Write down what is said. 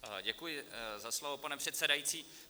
Děkuji za slovo, pane předsedající.